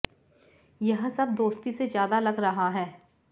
यह सब दोस्ती से ज्यादा लग रहा है